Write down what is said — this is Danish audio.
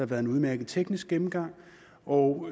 været en udmærket teknisk gennemgang og